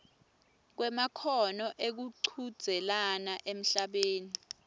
kwemakhono ekuchudzelana emhlabeni